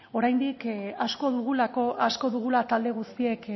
asko dugula talde guztiek